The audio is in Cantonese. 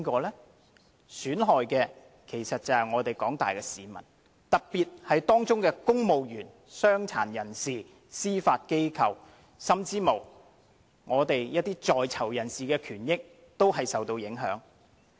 受損害的其實是廣大市民，特別是公務員、傷殘人士、司法機構，甚至是在囚人士的權益，均受影響。